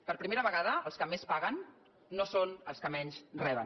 per primera vegada els que més paguen no són els que menys reben